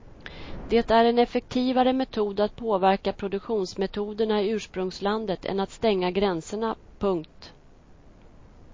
Det är en effektivare metod att påverka produktionsmetoderna i ursprungslandet än att stänga gränserna. punkt